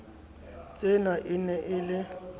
tsena e ne e le